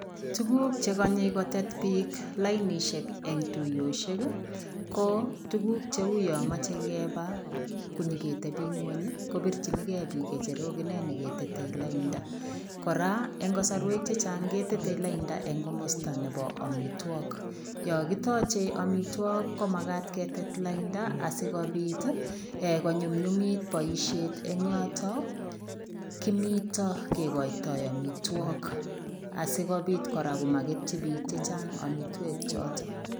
Tuguuk che kanyei kotet biik lainisheek en tuyosuek ii ko tuguuk che huyaan machei kebaa ko nyoketebii kweeny ii kobirchinigei biik ngecherook inei ne ke tetei laindaa kora en kasarweek chechaang ke tetei laindaa en komostaa nebo amitwagiik yaa kitaje amitwagiik ko magaat ketet laindaa asikobiit ko nyumnyumiit boisiet eng yotoo kigoitoi amitwagiik asikobiit komaketyi biik chechaang amitwagiik.